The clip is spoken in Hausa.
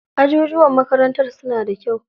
Ajujuwan makarantar suna da kyau.